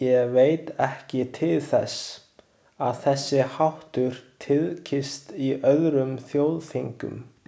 Ég veit ekki til þess, að þessi háttur tíðkist í öðrum þjóðþingum.